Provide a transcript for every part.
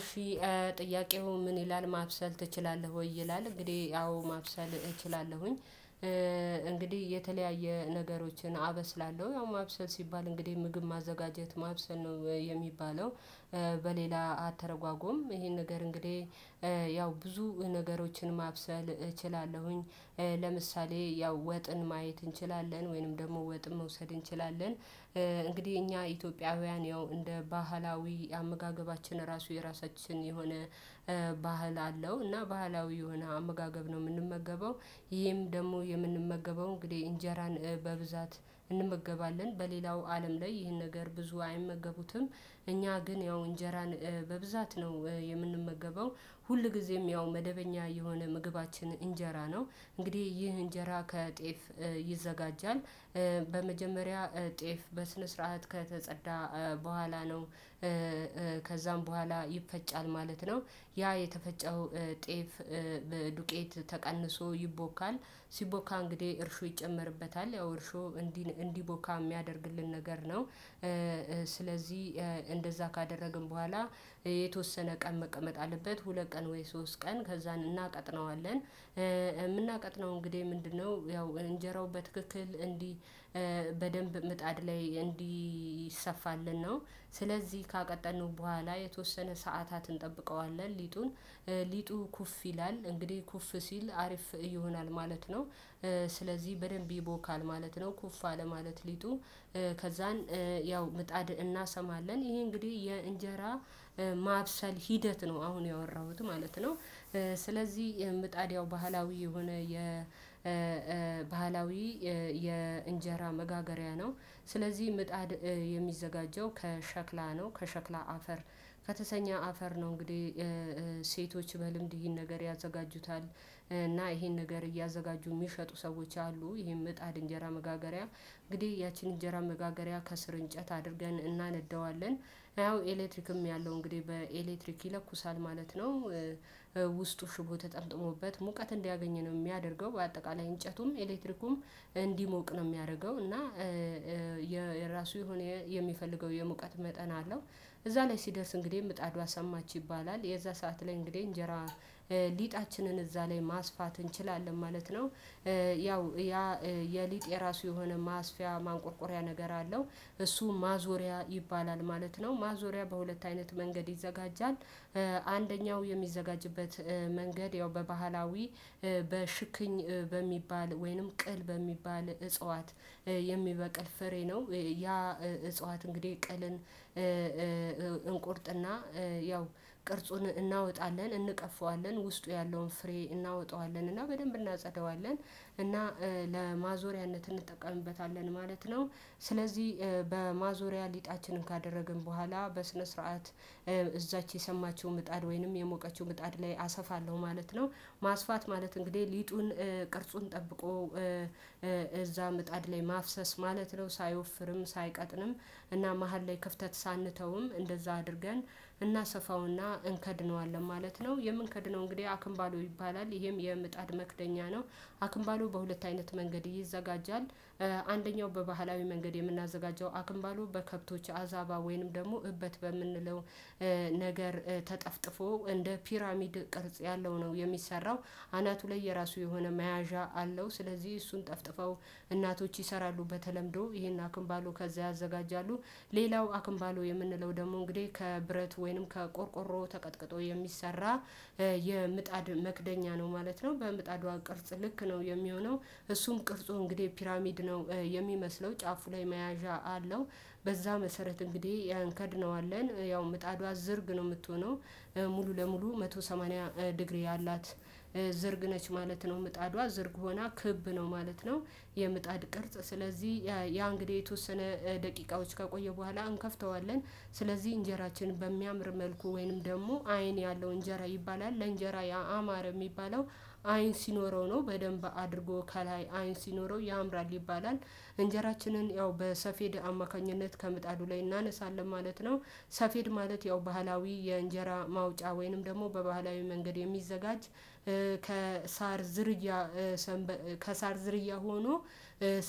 እሺ ጥያቄው ምን ይላል ማብሰል ትችላለህ ወይ? ይላል እንግዲህ አዎ ማብሰል እችላለሁ። እንግዲህ የተለያየ ነገሮችን አበስላለሁ ያው ማብሰል ሲባል እንግዲህ ምግብ ማዘጋጀት ማብሰል ነው የሚባለው። በሌላ አተረጓጎም ይሄን ነገር እንግዲህ ያው ብዙ ነገሮችን ማብሰል እችላለሁኝ። ለምሳሌ ያው ወጥን ማየት እንችላለን ወይንም ደግሞ ወጥ መውሰድ እንችላለን። እንግዲህ እኛ ኢትዮጵያውያን ያው እንደ ባህላዊ አመጋገባችን ራሱ የራሳችን የሆነ ባህል አለው እና ባህላዊ የሆነ አመጋገብ ነው የምንመገበው። ይሄም ደግሞ የምንመገበው እንግዲህ እንጀራን በብዛት እንመገባለን በሌላው አለም ላይ ይህን ነገር ብዙ አይመገቡትም እኛ ግን ያው እንጀራን በብዛት ነው የምንመገበው። ሁልጊዜም ያው መደበኛ የሆነ ምግባችን እንጀራ ነው። እንግዲህ ይህ እንጀራ ከጤፍ ይዘጋጃል። በመጀመሪያ ጤፍ በስነ ስርዓት ከተጸዳ በኋላ ነው። ከዛም በኋላ ይፈጫል ማለት ነው። ያ የተፈጨው ጤፍ ዱቄት ተቀንሶ ይቦካል። ሲቦካ እንግዲህ እርሾ ይጨመርበታል ያው እርሾ እንዲን እንዲቦካ የሚያደርግልን ነገር ነው። ስለዚህ እንደዛ ካደረግን በኋላ። የተወሰነ ቀን መቀመጥ አለበት ሁለት ቀን ወይ ሶስት ቀን ከዛን እናቀጥነዋለን እምናቀጥነው እንግዲህ ምንድነው ያው እንጀራው በትክክል እንዲ በደንብ ምጣድ ላይ እንዲሰፋልን ነው። ስለዚህ ካቀጠነው በኋላ የተወሰነ ሰዓታትን እንጠብቀዋለን ሊጡን ሊጡ ኩፍ ይላል እንግዲህ ኩፍ ሲል አሪፍ ይሆናል ማለት ነው። ስለዚህ በደንብ ይቦካል ማለት ነው ኩፍ አለ ማለት ሊጡ። ከዛን ያው ምጣድ እናሰማለን ይሄ እንግዲህ የእንጀራ ማብሰል ሂደት ነው አሁን ያወራሁት ማለት ነው። ስለዚህ ምጣድ ያው ባህላዊ የሆነ የባህላዊ የእንጀራ መጋገሪያ ነው። ስለዚህ ምጣድ የሚዘጋጀው ከሸክላ ነው ከሸክላ አፈር ከተሰኘ አፈር ነው እንግዲህ ሴቶች በልምድ ይሄን ነገር ያዘጋጁታል። እና ይሄን ነገር እያዘጋጁ የሚሸጡ ሰዎች አሉ ይሄን ምጣድ እንጀራ መጋገሪያ እንግዲህ ያቺን እንጀራ መጋገሪያ ከስር እንጨት አድርገን እናነደዋለን። ያው ኤሌክትሪክም ያለው እንግዲህ በኤሌክትሪክ ይለኩሳል ማለት ነው። ውስጡ ሽቦ ተጠምጥሞበት ሙቀት እንዲያገኝ ነው የሚያደርገው በአጠቃላይ እንጨቱም ኤሌክትሪኩም እንዲሞቅ ነው የሚያደርገው እና። የራሱ የሆነ የሚፈልገው የሙቀት መጠን አለው። እዛ ላይ ሲደርስ እንግዲህ ምጣዷ ሰማች ይባላል የዛ ሰዓት ላይ እንግዲህ እንጀራ ሊጣችንን እዛ ላይ ማስፋት እንችላለን ማለት ነው። ያው የሊጥ የራሱ የሆነ ማስፊያ ማንቆርቆሪያ ነገር አለው። እሱ ማዞሪያ ይባላል ማለት ነው ማዞሪያ በሁለት አይነት መንገድ ይዘጋጃል። አንደኛው የሚዘጋጅበት መንገድ ያው በባህላዊ በሽክኝ በሚባል ወይንም ቅል በሚባል እጽዋት የሚበቅል ፍሬ ነው። ያ እጽዋት እንግዲህ ቅልን። እንቆርጥና ያው ቅርጹን እናወጣለን እንቀፈዋለን ውስጡ ያለውን ፍሬ እናወጣዋለን እና በደንብ እናጸዳዋለን እና ለማዞሪያነት እንጠቀምበታለን ማለት ነው። ስለዚህ በማዞሪያ ሊጣችንን ካደረግን በኋላ በስነ ስርዓት እዛች የሰማችው ምጣድ ወይንም የሞቀችው ምጣድ ላይ አሰፋለሁ ማለት ነው። ማስፋት ማለት እንግዲህ ሊጡን ቅርጹን ጠብቆ እዛ ምጣድ ላይ ማፍሰስ ማለት ነው። ሳይወፍርም ሳይቀጥንም እና መሃል ላይ ክፍተት ሳንተውም እንደዛ አድርገን እናሰፋውና እንከድነዋለን ማለት ነው የምንከድነው እንግዲህ አክንባሎ ይባላል ይሄም የምጣድ መክደኛ ነው። አክንባሎ በሁለት አይነት መንገድ ይዘጋጃል። አንደኛው በባህላዊ መንገድ የምናዘጋጀው አክምባሎ በከብቶች አዛባ ወይንም ደግሞ እበት በምንለው ነገር ተጠፍጥፎ እንደ ፒራሚድ ቅርጽ ያለው ነው የሚሰራው። አናቱ ላይ የራሱ የሆነ መያዣ አለው ስለዚህ እሱን ጠፍጥፈው እናቶች ይሰራሉ በተለምዶ ይሄን አክምባሉ ከዛ ያዘጋጃሉ። ሌላው አክንባሎ የምንለው ደግሞ እንግዲህ ከብረት ወይንም ከቆርቆሮ ተቀጥቅጦ የሚሰራ የምጣድ መክደኛ ነው ማለት ነው በምጣዷ ቅርጽ ልክ ነው የሚሆነው። እሱም ቅርጹ እንግዲህ ፒራሚድ ነው የሚመስለው ጫፉ ላይ መያዣ አለው። በዛ መሰረት እንግዲህ ያን እንከድነዋለን ያው ምጣዷ ዝርግ ነው የምትሆነው። ሙሉ ለሙሉ አንድ መቶ ሰማኒያ ዲግሪ ያላት ዝርግ ነች ማለት ነው ምጣዷ ዝርግ ሆና ክብ ነው ማለት ነው። የምጣድ ቅርጽ ስለዚህ ያ እንግዲህ የተወሰነ ደቂቃዎች ከቆየ በኋላ እንከፍተዋለን። ስለዚህ እንጀራችንን በሚያምር መልኩ ወይንም ደግሞ አይን ያለው እንጀራ ይባላል ለእንጀራ ያአማረ የሚባለው አይን ሲኖረው ነው በደንብ አድርጎ ከላይ አይን ሲኖረው ያምራል ይባላል። እንጀራችንን ያው በሰፌድ አማካኝነት ከምጣዱ ላይ እናነሳለን ማለት ነው። ሰፌድ ማለት ያው ባህላዊ የእንጀራ ማውጫ ወይንም ደግሞ በባህላዊ መንገድ የሚዘጋጅ ከሳር ዝርያ ከሳር ዝርያ ሆኖ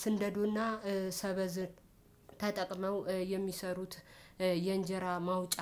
ስንደዱና ሰበዝ ተጠቅመው የሚሰሩት የእንጀራ ማውጫ።